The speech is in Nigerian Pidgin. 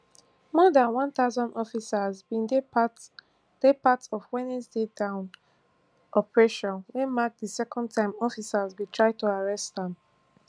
more dan one thousand officers bin dey part dey part of wednesday dawn operation wey mark di second time officers bin try to arrest am